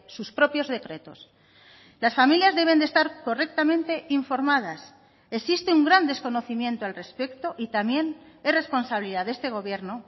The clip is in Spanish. sus propios decretos las familias deben de estar correctamente informadas existe un gran desconocimiento al respecto y también es responsabilidad de este gobierno